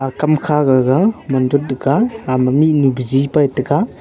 akam kha gaga ama mihnu bizi pa taiga.